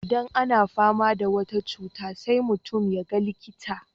Idan ana fama da wata cutar sai mutum ya ga likita.